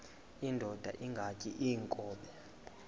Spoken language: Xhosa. indod ingaty iinkobe